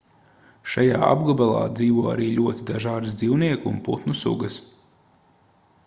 šajā apgabalā dzīvo arī ļoti dažādas dzīvnieku un putnu sugas